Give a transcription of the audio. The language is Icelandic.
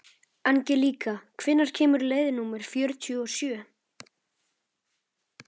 Angelíka, hvenær kemur leið númer fjörutíu og sjö?